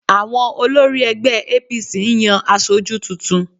Àwọn olórí ẹgbẹ́ APC ń yan aṣojú tuntun